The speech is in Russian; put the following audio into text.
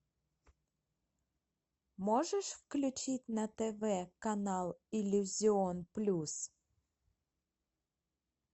можешь включить на тв канал иллюзион плюс